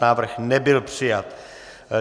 Návrh nebyl přijat.